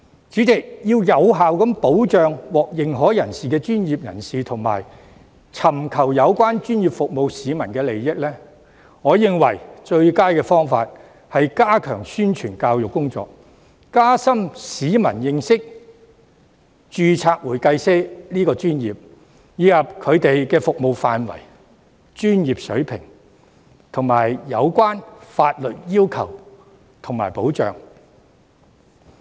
主席，要有效保障獲認可專業人士及尋求有關專業服務的市民的利益，我認為最佳方法是加強宣傳教育工作，加深市民對註冊會計師這個專業的認識，以及其服務範圍、專業水平及有關的法律要求和保障。